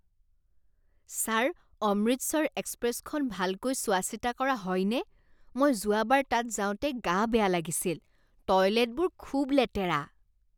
Sir Amritsar এক্সপ্ৰেছখন ভালকৈ চোৱা চিতা কৰা হয়নে? মই যোৱাবাৰ তাত যাওঁতে গা বেয়া লাগিছিল। টয়লেটবোৰ খুব লেতেৰা।